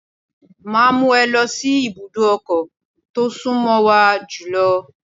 Máa mú ẹ lọ sí ibùdó ọkọ̀ tó sún mọ́ wa jùlọ.